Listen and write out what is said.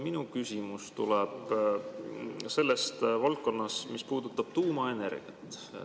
Minu küsimus tuleb valdkonnast, mis puudutab tuumaenergiat.